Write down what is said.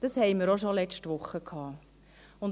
Das hatten wir auch letzte Woche schon.